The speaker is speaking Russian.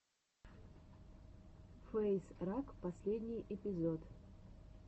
фэйз раг последний эпизод